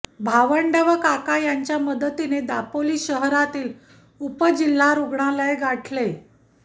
भावंड व काका यांच्या मदतीने दापोली शहरातील उपजिल्हा रुग्णालय गाठले